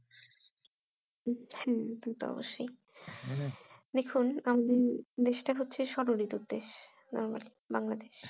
হম সে তো অবশ্যই মানে দেখুন normal বাংলাদেশ